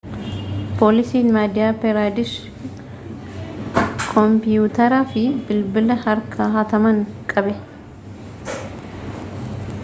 poolisiin madiyaa piraadesh kompiiyuteraa fi bilbila harkaa hataman qabe